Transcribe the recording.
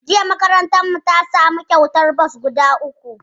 Jiya makarantarmu ta samu kyautar bas guda uku